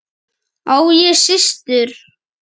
Á ég systur?